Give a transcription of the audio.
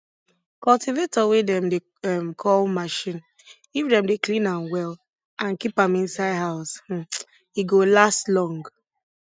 cultivator wey dem dey um call machine if dem dey clean am well and keep am inside house um e go last long